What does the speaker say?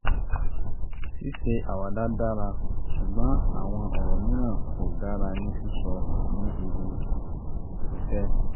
ṣíṣe àwàdà dára ṣùgbọ́n àwọn ọ̀rọ̀ mìíràn kò dára ní sísọ ní ibi-iṣẹ́